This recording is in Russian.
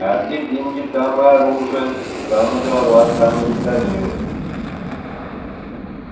а где деньги там и оружие там и дрова там и витамины